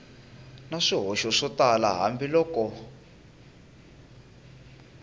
na swihoxo swo tala hambiloko